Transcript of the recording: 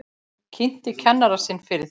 Kynnti kennara sinn fyrir þeim.